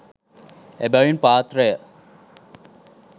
එබැවින් පාත්‍රය